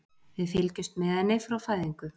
Við fylgjumst með henni frá fæðingu.